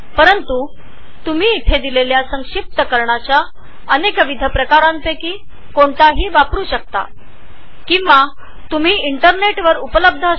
पण तुम्हाला येथे असलेल्या ड्रॉप डाउन बॉक्समधून कोणतेही कॉम्प्रेसर किंवा कोडेक्स वापरण्याचे स्वातंत्र्य आहे